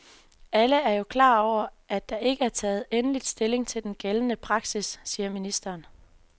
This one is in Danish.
Alle er jo klar over, at der ikke er taget endeligt stilling til den gældende praksis, siger ministeren.